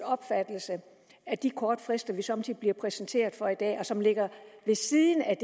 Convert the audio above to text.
opfattelse at de korte frister vi somme tider bliver præsenteret for og som ligger ved siden af